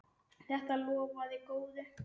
Þetta lofaði góðu.